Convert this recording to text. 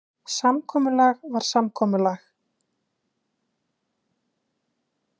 Samkomulag var samkomulag.